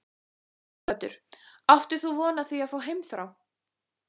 Sighvatur: Áttir þú von á því að fá heimþrá?